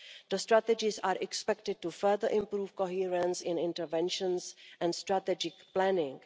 The strategies are expected to further improve coherence in interventions and strategic planning.